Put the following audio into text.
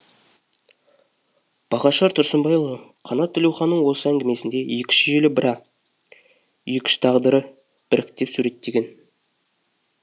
бағашар тұрсынбайұлы қанат тілеуханның осы әңгімесінде екі үш желі бра екі үш тағдырды біріктіріп суреттеген